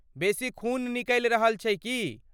बेसी खून निकलि रहल छै की?